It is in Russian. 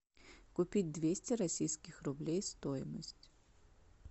купить двести российских рублей стоимость